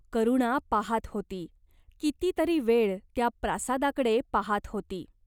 करुणा पाहात होती. किती तरी वेळ त्या प्रासादाकडे पाहात होती.